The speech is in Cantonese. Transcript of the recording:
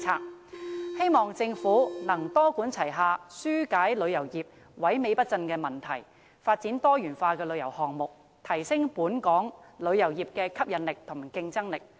我希望政府能夠多管齊下，紓解旅遊業萎靡不振的問題，並發展多元化的旅遊項目，以提升本港旅遊業的吸引力和競爭力。